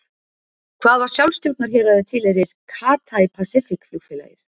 Hvaða sjálfsstjórnarhéraði tilheyrir Cathay Pacific flugfélagið?